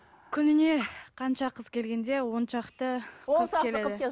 күніне қанша қыз келгенде оншақты